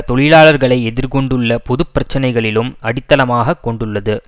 தொழிலாளர்களை எதிர் கொண்டுள்ள பொது பிரச்சனைகளிலும் அடித்தளமாக கொண்டுள்ளது